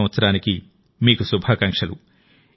2023 సంవత్సరానికి మీకు శుభాకాంక్షలు